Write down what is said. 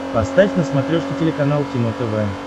поставь на смотрешке телеканал кино тв